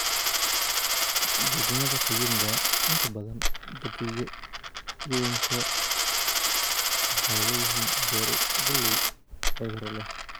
Degmada Kayunga, inta badan jardiinooyinku waxay leeyihiin beero galley cudurro leh.